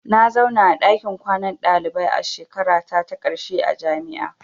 Na zauna a ɗakin kwanan dalibai a shekarata ta ƙarshe a jami'a.